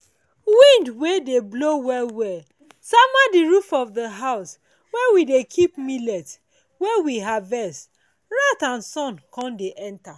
wind wey dey blow well well sama the roof of the house where we dey keep millet wey we harvet rat and sun con dey enter.